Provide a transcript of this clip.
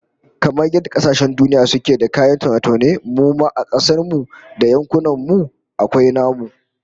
Kamar yadda kasashen duniya suke da kayan taune-taune, mu ma a kasar mu da yankunan mu akwai namu